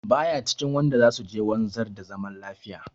Ba ya cikin waɗanda za su je wanzar da zaman lafiya.